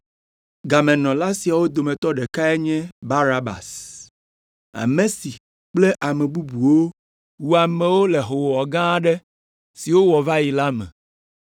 Gamenɔla siawo dometɔ ɖekae nye Barabas, ame si kple ame bubuwo wu amewo le hoowɔwɔ gã aɖe si wowɔ va yi la me.